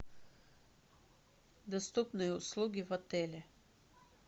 доступные услуги в отеле